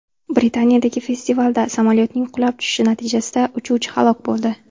Britaniyadagi festivalda samolyotning qulab tushishi natijasida uchuvchi halok bo‘ldi.